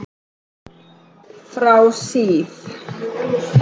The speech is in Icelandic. Frá síð